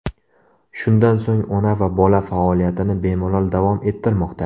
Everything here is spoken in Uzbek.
Shundan so‘ng ona va bola faoliyatini bemalol davom ettirmoqda.